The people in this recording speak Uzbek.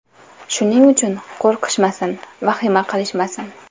Shuning uchun qo‘rqishmasin, vahima qilishmasin.